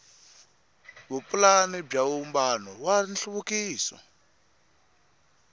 vupulani bya vumbano wa nhluvukiso